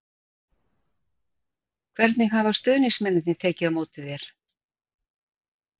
Hvernig hafa stuðningsmennirnir tekið á móti þér?